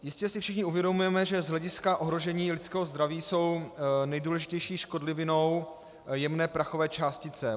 Jistě si všichni uvědomujeme, že z hlediska ohrožení lidského zdraví jsou nejdůležitější škodlivinou jemné prachové částice.